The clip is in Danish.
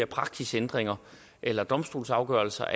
praksisændringer eller domstolsafgørelser